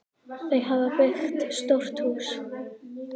Þau hafa byggt stórt hús.